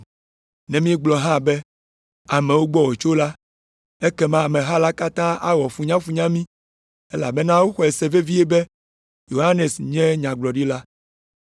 Ne míegblɔ hã be, ‘Amewo gbɔ wòtso la,’ ekema ameha la katã awɔ funyafunya mí, elabena woxɔe se vevie be Yohanes nye nyagblɔɖila.”